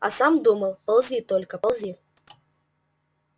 а сам думал ползи только ползи